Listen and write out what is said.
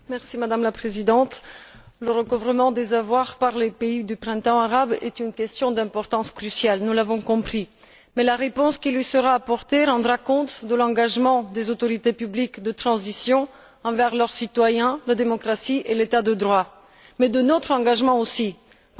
Madame la Présidente, le recouvrement des avoirs par les pays du Printemps arabe est une question d'importance cruciale, nous l'avons compris. Mais la réponse qui y sera apportée rendra compte de l'engagement des autorités publiques de transition envers leurs citoyens, la démocratie et l'état de droit, mais aussi de l'engagement qui est le nôtre.